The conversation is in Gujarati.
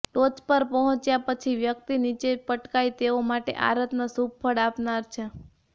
ટોચ પર પહોંચ્યા પછી વ્યક્તિ નિચે પટકાઈ તેઓ માટે આ રત્ન શુભ ફળ આપનાર છે